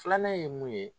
Filanan ye mun ye